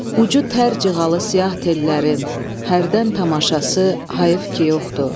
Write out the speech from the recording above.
Ucu tər cığalı siyah tellərin hərdən tamaşası hayıf ki yoxdur.